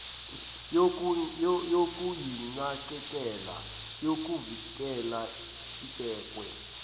yokuyinakekela nokuyivikela ibekwe